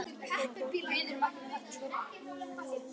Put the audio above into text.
Á toppi hennar er þenslustykki og venjulega tveir aðallokar.